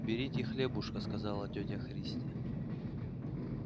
берите хлебушек сказала тётя христя